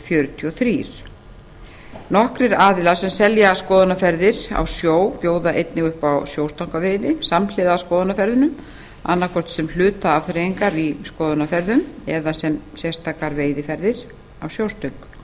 fjörutíu og þrjú nokkrir aðilar sem selja skoðunarferðir á sjó bjóða einnig upp á sjóstangaveiði samhliða skoðunarferðunum annaðhvort sem hluta afþreyingar í skoðunarferðum eða sem sérstakar veiðiferðir á sjóstöng